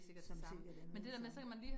Som sikkert er noget af det samme